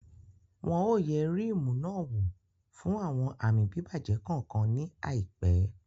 Wọn ò yẹ Ríímù náà wò fún àwọn àmì bíbàjẹ́ kankan ní àìpẹ́